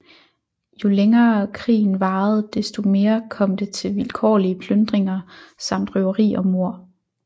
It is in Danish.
Jo længere krigen varede desto mere kom det til vilkårlige plyndringer samt røveri og mord